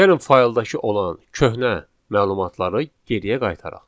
Gəlin fayldakı olan köhnə məlumatları geriyə qaytaraq.